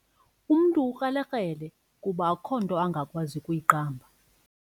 Umntu ukrelekrele kuba akukho nto angakwazi kuyiqamba.